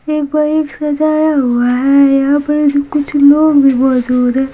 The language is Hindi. एक बाइक सजाया हुआ है यहाँ पर कुछ लोग भी मौजूद है।